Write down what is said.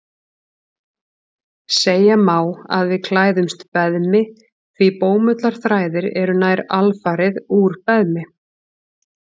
Segja má að við klæðumst beðmi því bómullarþræðir eru nær alfarið úr beðmi.